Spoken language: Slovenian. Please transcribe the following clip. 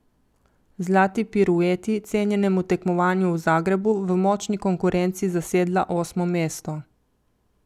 Zlati pirueti, cenjenemu tekmovanju v Zagrebu, v močni konkurenci zasedla osmo mesto.